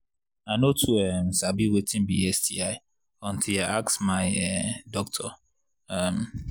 i no too um sabi watin sti until i ask my um doctor um